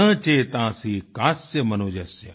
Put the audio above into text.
न चेतांसी कस्य मनुज्स्य